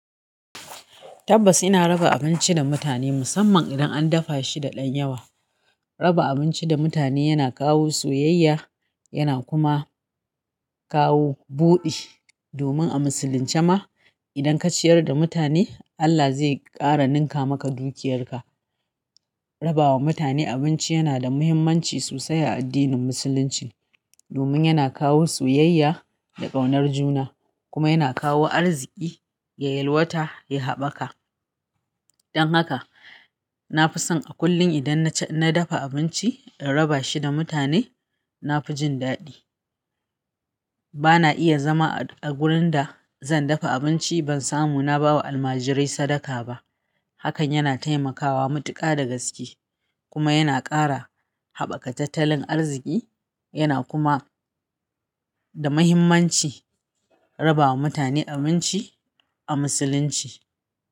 Tabbas ina raba abinci da mutane musamman idan an dafa shi da ɗan yawa. Raba abinci da mutane yana kawo soyayya, yana kuma kawo buɗi. Domin a musulunce ma, idan ka ciyar da mutane, Allah zai ƙara ninka maka dukiyarka. Rabawa mutane abinci yana da muhimmanci sosai a addinin musulunci domin yana kawo soyayya da ƙaunar juna kuma yana kawo arziki, yayalwata, ya haɓaka. Don haka na fi son a kullum idan na dafa abinci in raba shi da mutane, na fi jin daɗi. Bana iya zama a gurin da zan dafa abinci ban samu na ba wa almajirai sadaka ba. Hakan yana taimakawa matuƙa da gaske kuma yana ƙara haɓaka tattalin arziki yana kuma da muhimmanci rabawa mutane abinci a musulunci.